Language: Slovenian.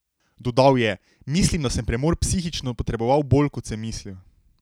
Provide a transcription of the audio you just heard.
Dodal je: "Mislim, da sem premor psihično potreboval bolj, kot sem mislil.